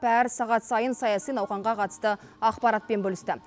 әр сағат сайын саяси науқанға қатысты ақпаратпен бөлісті